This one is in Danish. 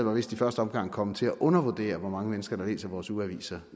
vist i første omgang kommet til at undervurdere hvor mange mennesker der læser vores ugeaviser